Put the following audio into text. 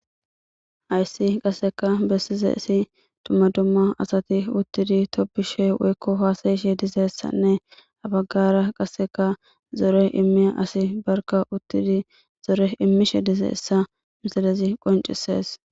Hayisi qasekka besizayisi dumma dumma asati uttidi tobbishshe dizayisa woyikko hasaishshe dizayisanne ha bagara qase zore immiya asayi barikka uttidi imishshe dizayisa misilezi qonicisesi